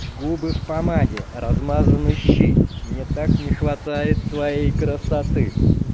губы в помаде размазаны щи мне так не хватает твоей красоты